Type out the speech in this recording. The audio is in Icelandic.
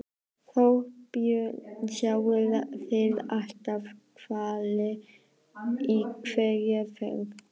Þorbjörn: Sjáið þið alltaf hvali í hverri ferð?